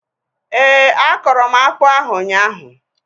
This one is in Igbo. Éè, akọrọ m akpụ ahu ụnyaahụ